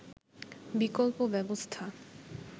বিকল্প ব্যবস্থা